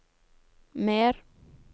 mer